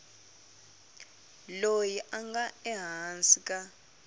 loyi a nga ehansi ka